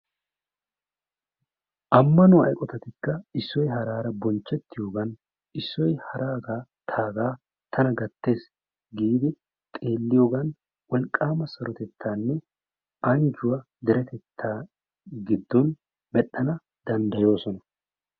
Ammanuwaa eqotattikka issoy haraara bonchetiyoogan issoy haragaa tagaa tana gattees giidi xeelliyoogan wolqqaama sarotettaanne anjjuwaa deretettaa giddoon medhdhana dandayoosona.